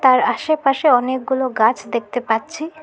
আর আসেপাশে অনেকগুলো গাছ দেখতে পাচ্ছি।